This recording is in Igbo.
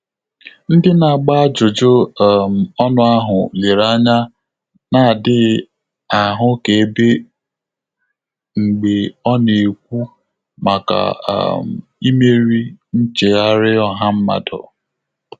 Ndị́ nà-àgbà ájụ́jụ́ um ọ́nụ́ áhụ́ léré ányá nà-ádị́ghị́ áhụ́kèbé mgbè ọ́ nà-ékwú màkà um ímérí nchéghárị́ ọ́há mmádụ́.